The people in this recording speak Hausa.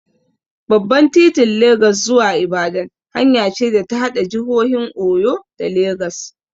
Babban titin Legas zuwa Ibadan hanya ce da ta haɗa jihohin Oyo da Legas.